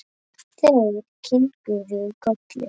Þeir kinkuðu kolli.